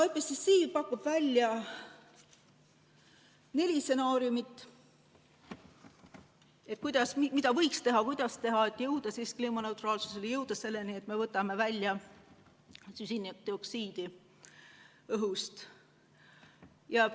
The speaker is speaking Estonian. IPPC pakub välja neli stsenaariumi, mida võiks teha ja kuidas võiks teha, et jõuda kliimaneutraalsuseni, jõuda selleni, et me võtame süsinikdioksiidi õhust välja.